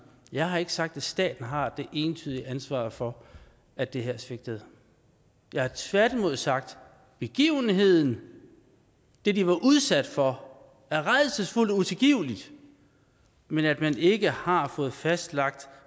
jeg har ikke sagt at staten har det entydige ansvar for at det her svigtede jeg har tværtimod sagt at begivenheden det de var udsat for var rædselsfuldt og utilgiveligt men at man ikke har fået fastlagt